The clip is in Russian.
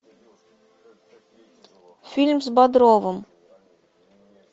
фильм с бодровым